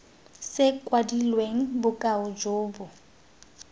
se kwadilweng bokao jo bo